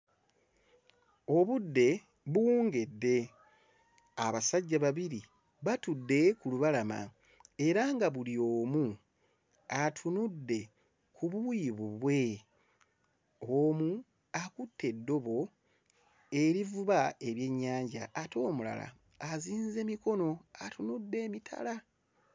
Obudde buwungedde abasajja babiri batudde ku lubalama era nga buli omu atunudde ku luuyi lulwe omu akutte eddobo erivuba ebyennyanja ate omulala azinze mikono atunudde emitala.